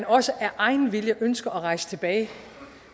også af egen vilje ønsker at rejse tilbage